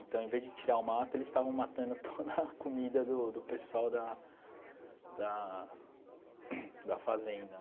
Então, ao invés de tirar o mato, eles estavam matando toda a comida do do pessoal da da da fazenda.